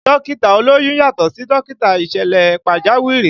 Dókítà olóyún yàtọ̀ sí dókítà ìṣẹ̀lẹ̀ pàjáwìrì